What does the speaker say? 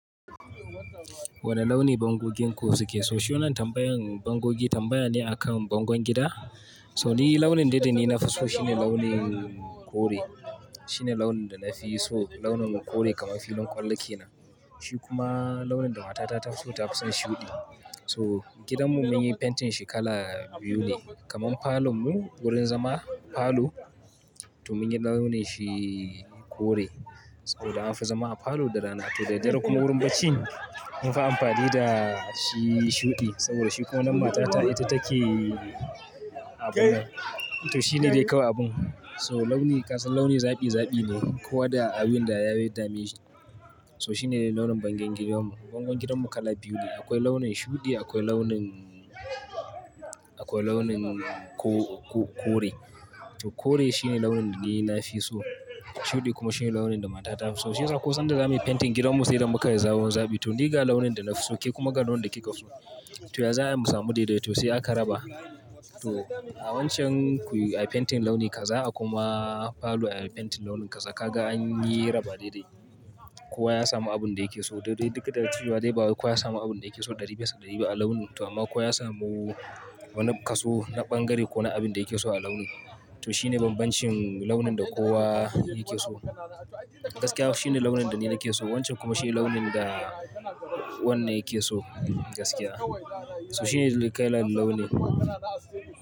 Wane launi bangogenku suke so? Shi wannan tambayan bangogi tambaya ne a kan bangon gida? So ni, launin da ni nafi so shine launin kore. Shine launin da nafi so, launin kore kamar filin ƙwallake na. Shi kuma, launin da matata ta fi so ta kusan shuɗi. So, gidanmu mun yi fentin shi kala biyu ne. Kaman falon mu, wurin zama falo, to mun yi launin shi kore, saboda an fi zama a falo da rana. To da dare kuma wurin bacci, mun fi amfani da shi shuɗi, saboda shi ko wannan matata ita take abun nan. To shine dai kawai abun. So launi kasan launi zabi zabi ne. Kowa da abin da ya yarda mai shi. So shine launin bangengen mu. Bangon gidanmu kala biyu ne. Akwai launin shuɗi akwai launin, akwai launin ko-ko-kore. To kore shine launin da ni nafi so. Shuɗi kuma shine launin da mata ta fi so. Shi yasa ko sanda za muyi fentin gidanmu sai da muka yi zawon zabi. To ni ga launin da nafi so, ke kuma ga launin da kika so. To ya za'ayi mu samu daidai? To sai aka raba. To, a wancan kuyi ayi fentin launin ka, za a kuma falo ayi fentin launin ka. Za ka ga an yi raba daidai. Kowa ya samu abin da yake so. Daidai duk da cewa dai ba kuwa ya samu abin da yake so ɗari bisa ɗari ba a launin, to amma kuwa ya samu wani kaso, na ɓangare ko na abin da yake so a launi. To shine banbancin, launin da kowa yake so. Gaskiya shine launin da ni nake so, wancan kuma shine launin da, wannan yake so gaskiya. So shine kailan launi.